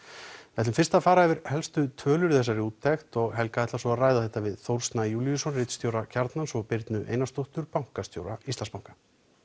við ætlum fyrst að fara yfir helstu tölur í þessari úttekt og Helga ætlar svo að ræða þetta við Þórð Snæ Júlíusson ritstjóra Kjarnans og Birnu Einarsdóttur bankastjóra Íslandsbanka